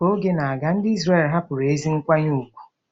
Ka oge na-aga, ndị Izrel hapụrụ ezi nkwanye ùgwù.